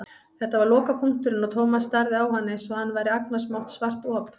Þetta var lokapunkturinn og Thomas starði á hann einsog hann væri agnarsmátt svart op.